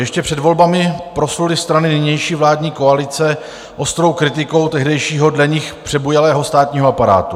Ještě před volbami prosluly strany nynější vládní koalice ostrou kritikou tehdejšího, dle nich přebujelého státního aparátu.